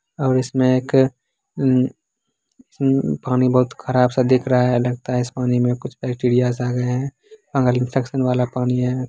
और इसमे एक अ-अ पानी बहुत खराब सा दिख रहा हैं। लगता इस पानी मे कुछ बैक्टेरिया सा आ गया हैं। फंगल इंफेक्शन वाला पानी हैं।